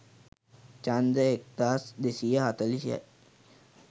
ඡන්ද එක්දහස් දෙසිය හතලිහයි.